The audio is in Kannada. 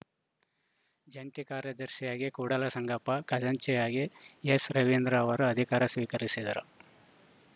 ಜಂಟಿ ಕಾರ್ಯದರ್ಶಿಯಾಗಿ ಕೂಡಲಸಂಗಪ್ಪ ಖಜಾಂಚಿಯಾಗಿ ಎಸ್‌ರವಿಚಂದ್ರ ಅವರು ಅಧಿಕಾರ ಸ್ವೀಕರಿಸಿದರು